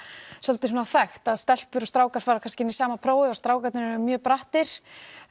svolítið þekkt að stelpur og strákar fara kannski inn í sama prófið og strákarnir eru mjög brattir